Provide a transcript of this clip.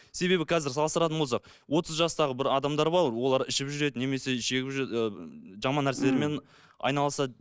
себебі қазір салыстыратын болсақ отыз жастағы бір адамдар бар олар ішіп жүреді немесе шегіп ы жаман нәрселермен айналысады